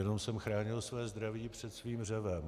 Jenom jsem chránil své zdraví před tím řevem.